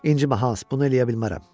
İncimə Hans, bunu eləyə bilmərəm,